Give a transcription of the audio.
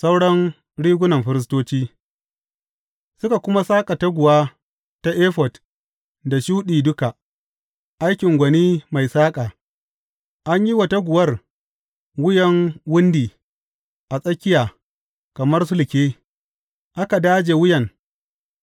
Sauran rigunan firistoci Suka kuma saƙa taguwa ta efod da shuɗi duka, aikin gwani mai saƙa, an yi wa taguwar wuyan wundi a tsakiya kamar sulke, aka daje wuyan